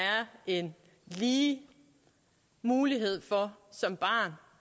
en lige mulighed for som barn